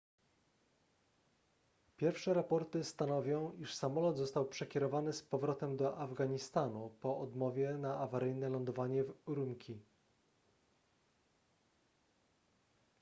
pierwsze raporty stanowią iż samolot został przekierowany z powrotem do afganistanu po odmowie na awaryjne lądowanie w ürümqi